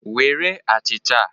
Were achịcha a.